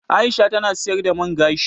Aisha ta na siyar da man gashi